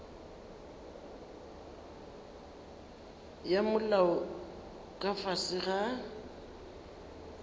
ya molao ka fase ga